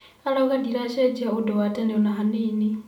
Arauga ndiracenjia ũndũ wa tene ona hanini.